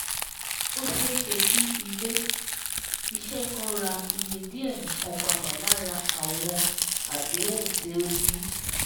Ó ṣéeṣe kí Ilé-iṣẹ́ kan rà iye díẹ̀ nìkan padà lára àwọn àdéhùn tí ó ní